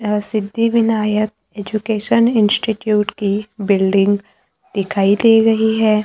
यह Siddhivinayak education institute की building दिखाई दे रही है।